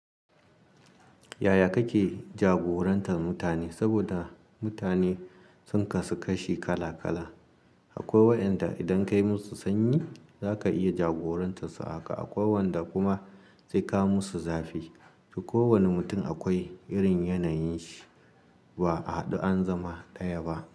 Yaya kake jagorantar mutane? Saboda mutane sun kasu kashi kala kala. Akwai wa'inda idan ka yi musu sanyi, za ka iya jagorantar su a haka. Akwai wanda kuma sai ka musu zafi. Kowane mutum akwai irin yanayin shi. Ba a haɗu an zama ɗaya ba.